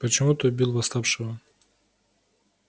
почему ты убил восставшего